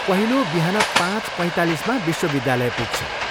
पहिलो बिहान पाँच पैँतालिसमा विश्वविद्यालय पुग्छ।